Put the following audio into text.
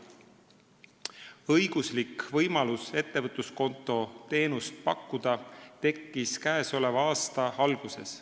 Õiguslik võimalus ettevõtluskonto teenust pakkuda tekkis käesoleva aasta alguses.